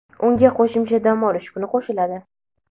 unga qo‘shimcha dam olish kuni qo‘shiladi.